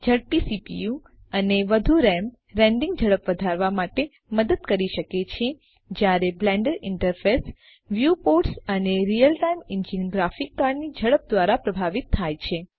ઝડપી સીપીયુ અને વધુ રામ રેન્ડરીંગ ઝડપ વધારવા માટે મદદ કરી શકે છે જ્યારે બ્લેન્ડર ઈન્ટરફેસ વ્યુપોર્ટસ અને રીયલટાઈમ ઈન્જીન ગ્રાફિક્સ કાર્ડ ની ઝડપ દ્વારા પ્રભાવિત થાય છે